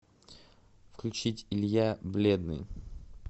включить илья бледный